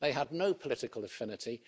They had no political affinity.